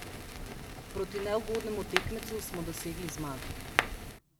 Proti neugodnemu tekmecu smo dosegli zmago.